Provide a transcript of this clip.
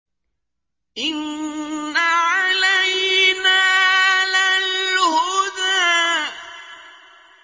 إِنَّ عَلَيْنَا لَلْهُدَىٰ